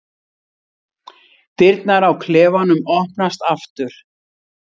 Dyrnar á klefanum opnast aftur.